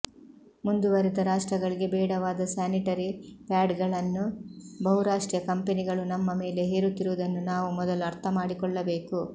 ಮುಂದುವರೆದ ರಾಷ್ಟ್ರಗಳಿಗೆ ಬೇಡವಾದ ಸ್ಯಾನಿಟರಿ ಪ್ಯಾಡ್ಸ್ಗಳನ್ನು ಬಹುರಾಷ್ಟ್ರೀಯ ಕಂಪೆನಿಗಳು ನಮ್ಮ ಮೇಲೆ ಹೇರುತ್ತಿರುವುದನ್ನು ನಾವು ಮೊದಲು ಅರ್ಥ ಮಾಡಿಕೊಳ್ಳಬೇಕು